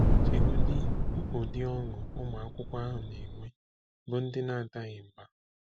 Chegodị ụdị ọṅụ ụmụ akwụkwọ ahụ na-enwe bụ́ ndị na-adaghị mbà!